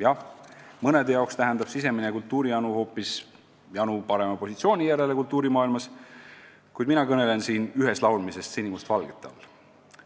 Jah, mõnede jaoks tähendab sisemine kultuurijanu hoopis janu parema positsiooni järele kultuurimaailmas, kuid mina kõnelen siin üheslaulmisest sinimustvalgete all,